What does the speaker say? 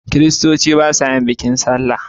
Kiristoci ba sa yin bikin sallah